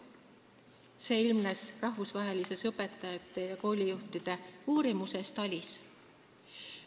See ilmnes rahvusvahelisest õpetajate ja koolijuhtide uurimusest TALIS.